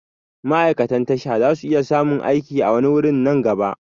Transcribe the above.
Ma'aikatan tasha zasu iya samun aiki a wani wurin nan gaba